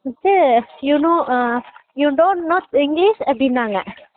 கூப்ட்டு you know ah you dont know english அப்படினாங்க